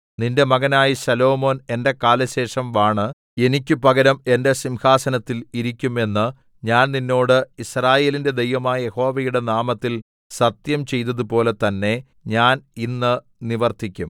നിന്റെ മകനായ ശലോമോൻ എന്റെ കാലശേഷം വാണ് എനിക്ക് പകരം എന്റെ സിംഹാസനത്തിൽ ഇരിക്കും എന്ന് ഞാൻ നിന്നോട് യിസ്രായേലിന്റെ ദൈവമായ യഹോവയുടെ നാമത്തിൽ സത്യം ചെയ്തതുപോലെ തന്നേ ഞാൻ ഇന്ന് നിവർത്തിക്കും